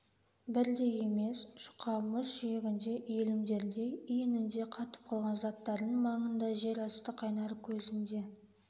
бірдей емес жұқа мұз жиегінде иілімдерде иінінде қатып қалған заттардың маңында жер асты қайнар көзінде